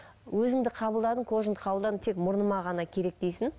өзіңді қабылдадың кожаңды қабылдадың тек мұрныма ғана керек дейсің